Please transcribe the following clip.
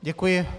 Děkuji.